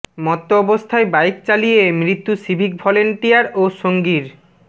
মত্ত অবস্থায় বাইক চালিয়ে মৃত্যু সিভিক ভলান্টিয়ার ও সঙ্গীর